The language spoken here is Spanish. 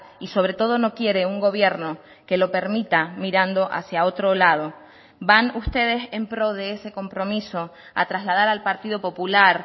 y sobre todo no quiere un gobierno que lo permita mirando hacia otro lado van ustedes en pro de ese compromiso a trasladar al partido popular